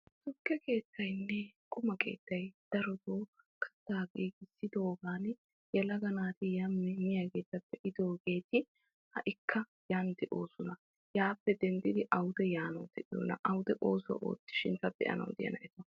Tukke keettayinne qumma keettayinne darotto katta kattidogan yelaga naati miyaagetta be'idooge ha'ikkq yan de'ossonna awudde yiiddi oosuwa oottanawu de'iyoonna.